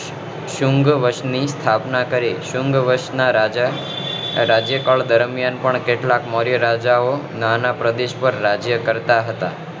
સુન્ઘવંશ ની સ્થાપના કરી સુન્ઘવંશ ના રાજા રાજ્યકાળ દરમિયાન પણ કેટલા મૌર્ય રાજાઓ નાના પ્રદેશ પર રાજ્ય કરતા હતા